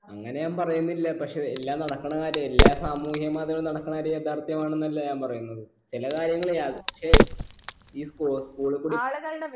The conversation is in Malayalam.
അങ്ങനെ ഞാൻ പറയുന്നില്ല പക്ഷെ എ എല്ലാം നടക്കണ കാര്യം എല്ലാ സാമൂഹ്യ മാധ്യമങ്ങളിൽ നടക്കണ കാര്യം യാഥാർത്ഥ്യമാണ് എന്നല്ലേ ഞാൻ പറയുന്നത് ചില കാര്യങ്ങൾ യ ക്ഷേ ഇ sports school